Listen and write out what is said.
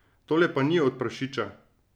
Tole pa ni od prašiča.